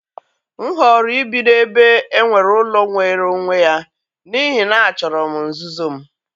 M họọrọ ibi n'ebe e nwere ụlọ nwere onwe ya, n'ihi na achọrọ m nzuzo m